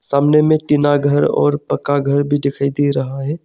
सामने में टीना घर और पक्का घर भी दिखाई दे रहा है।